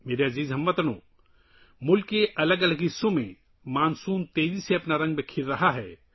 میرے پیارے ہم وطنو، ملک کے مختلف حصوں میں مانسون تیزی سے اپنے رنگ بکھیر رہا ہے